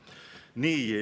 Nii.